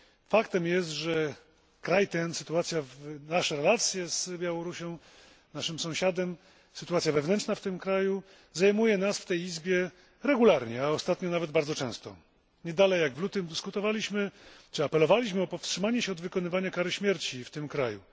Faktem jest, że nasze relacje z Białorusią, z naszym sąsiadem, sytuacja wewnętrzna w tym kraju zajmuje nas w tej Izbie regularnie, a ostatnio nawet bardzo często. Nie dalej jak w lutym dyskutowaliśmy czy apelowaliśmy o powstrzymanie się od wykonywania kary śmierci w tym kraju.